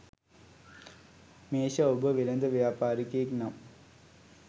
මේෂ ඔබ වෙළෙඳ ව්‍යාපාරිකයෙක් නම්